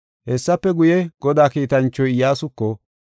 Hessafe guye, Godaa kiitanchoy Iyyasuko,